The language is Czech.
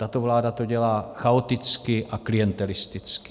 Tato vláda to dělá chaoticky a klientelisticky.